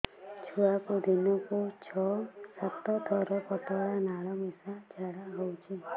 ଛୁଆକୁ ଦିନକୁ ଛଅ ସାତ ଥର ପତଳା ନାଳ ମିଶା ଝାଡ଼ା ହଉଚି